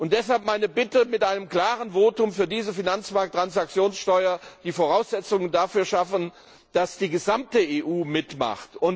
Deshalb meine Bitte, mit einem klaren Votum für diese Finanzmarkttransaktionssteuer die Voraussetzungen dafür zu schaffen, dass die gesamte EU mitmacht.